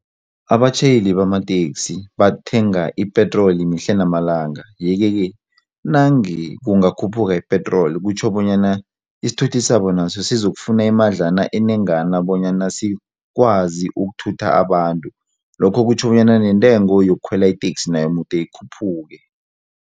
Abatjhayeli bamateksi bathenga ipetroli mihle namalanga yeke-ke nange kungakhuphuka ipetroli kutjho bonyana isithuthi sabo naso zizokufuna imadlana enengana bonyana sikwazi ukuthutha abantu, lokho kutjho bonyana nentengo yokukhwela iteksi nayo mude ikhuphuke.